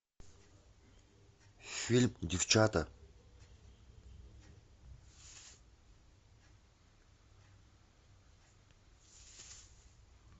фильм девчата